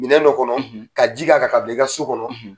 Minɛn dɔ kɔnɔ ka ji k'a kan ka bila i ka so kɔnɔ.